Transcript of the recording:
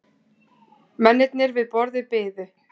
Mennirnir við borðið biðu.